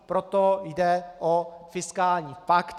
Proto jde o fiskální pakt.